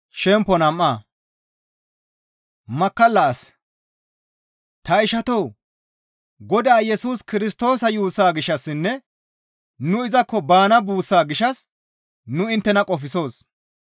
Ta ishatoo! Godaa Yesus Kirstoosa yuussaa gishshassinne nu izakko baana buussaa gishshas nu inttena qofsoos.